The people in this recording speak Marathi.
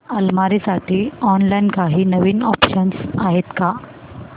अलमारी साठी ऑनलाइन काही नवीन ऑप्शन्स आहेत का